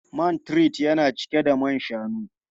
Man tart yana cike da man shanu.